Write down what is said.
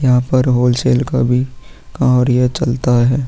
यहां पर होलसेल का भी कार्य चलता है।